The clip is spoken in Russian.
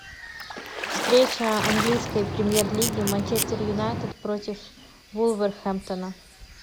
встреча английской премьер лиги манчестер юнайтед против вулверхэмптона